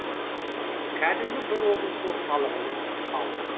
кәдімгі бір облыс орталығының халқы